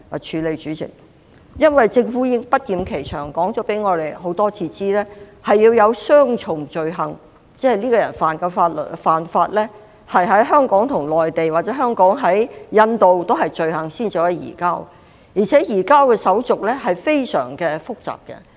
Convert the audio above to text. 代理主席，政府已不厭其煩地多次告訴我們，必須符合雙重犯罪原則才可能進行移交，即一個人干犯罪行必須在香港及內地或香港及印度俱是罪行，才能移交，而且移交的程序非常複雜。